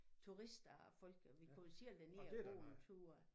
Turister og folk og vi går jo selv derned og går en tur